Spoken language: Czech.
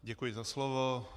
Děkuji za slovo.